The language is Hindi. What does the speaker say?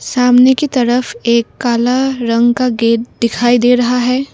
सामने की तरफ एक काला रंग का गेट दिखाई दे रहा है।